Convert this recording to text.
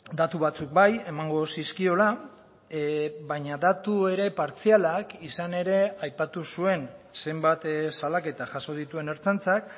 datu batzuk bai emango zizkiola baina datu ere partzialak izan ere aipatu zuen zenbat salaketa jaso dituen ertzaintzak